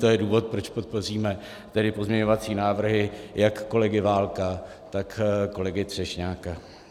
To je důvod, proč podpoříme tedy pozměňovací návrhy jak kolegy Válka, tak kolegy Třešňáka.